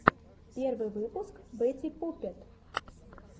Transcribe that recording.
первый выпуск бэтти пуппет